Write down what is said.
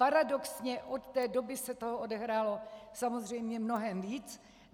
Paradoxně od té doby se toho odehrálo samozřejmě mnohem víc.